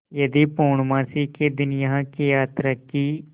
यदि पूर्णमासी के दिन यहाँ की यात्रा की